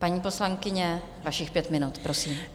Paní poslankyně, vašich pět minut, prosím.